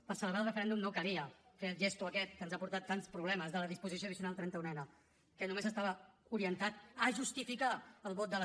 per celebrar el referèndum no calia fer el gest aquest que ens ha portat tants problemes de la disposició addicional trenta unena que només estava orientat a justificar el vot de la